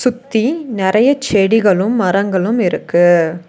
சுத்தி நெறைய செடிகளும் மரங்களும் இருக்கு.